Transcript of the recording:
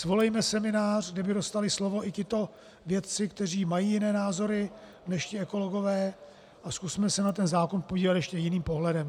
Svolejme seminář, kde by dostali slovo i tito vědci, kteří mají jiné názory než ti ekologové, a zkusme se na ten zákon podívat ještě jiným pohledem.